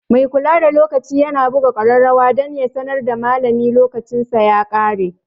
Mai kula da lokaci yana buga kararrawa dan ya sanar da malami lokacinsa ya kare.